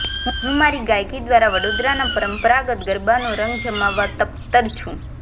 હું મારી ગાયિકી દ્વારા વડોદરાના પરંપરાગત ગરબાનો રંગ જમાવવા તપ્તર છું